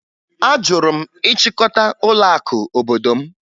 Ajụrụ m ịchịkọta ụlọakụ obodo m